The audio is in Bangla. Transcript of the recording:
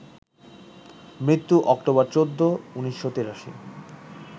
মৃত্যু অক্টোবর ১৪, ১৯৮৩